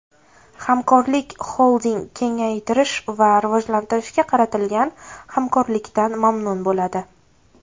Hamkorlik Xolding kengaytirish va rivojlantirishga qaratilgan hamkorlikdan mamnun bo‘ladi.